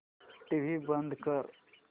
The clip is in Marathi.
टीव्ही बंद कर